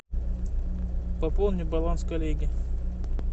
пополни баланс коллеги